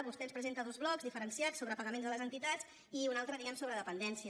vostè ens presenta dos blocs diferenciats sobre pagaments a les entitats i un altre diguem ne sobre dependència